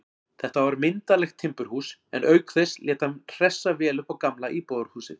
Þetta var myndarlegt timburhús, en auk þess lét hann hressa vel upp á gamla íbúðarhúsið.